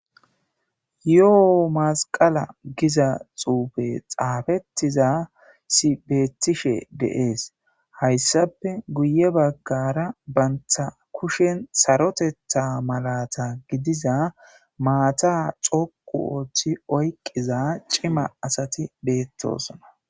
yoo masqala giza xuufe xaafettiza si beetishe deees hayssape guye baggara bantha kushen sarotetha malata gidiza maata coqu ooththi oyqqiza cima asati beettosona